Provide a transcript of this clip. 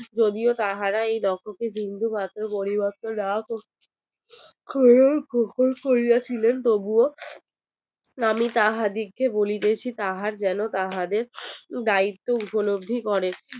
যদিও তাহারা এই লক্ষ কে বিন্দু মাত্র পরিবর্তন না করে তবুও আমি তাহা দিগ্ কে বলিতেছি তাহারা যেন তাহাদের দাইত্ত উপলব্ধি করে